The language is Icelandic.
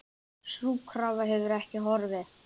Sú krafa hefur ekki horfið.